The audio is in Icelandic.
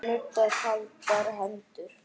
Nuddar kaldar hendur.